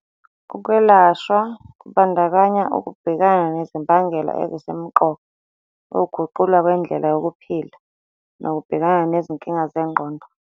Ukwelashwa kubandakanya ukubhekana nezimbangela ezisemqoka, ukuguqulwa kwendlela yokuphila, nokubhekana nezinkinga zengqondo.